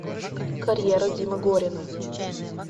карьера димы горина